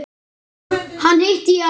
Hana hitti ég aldrei.